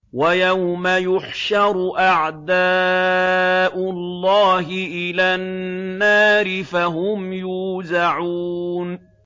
وَيَوْمَ يُحْشَرُ أَعْدَاءُ اللَّهِ إِلَى النَّارِ فَهُمْ يُوزَعُونَ